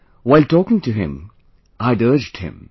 While talking to him I had urged him